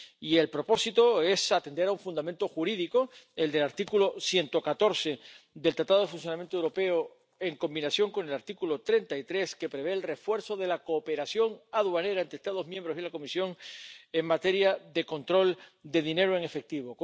Y el propósito es atender a un fundamento jurídico que prevé el refuerzo de la cooperación aduanera entre Estados miembros y la Comisión en materia de control de dinero en efectivo.